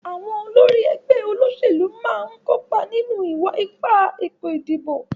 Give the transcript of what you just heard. Àwon olórí ẹgbẹ́ òṣèlú náà ń kópa nínú ìwa-ipá ètò ìdìbò.